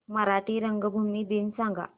मराठी रंगभूमी दिन सांगा